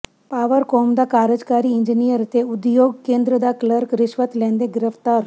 Powercom ਦਾ ਕਾਰਜਕਾਰੀ engineer ਤੇ ਉਦਯੋਗ ਕੇਂਦਰ ਦਾ ਕਲਰਕ ਰਿਸ਼ਵਤ ਲੈਂਦੇ ਗ੍ਰਿਫ਼ਤਾਰ